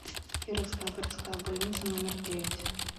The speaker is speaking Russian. кировская городская больница номер девять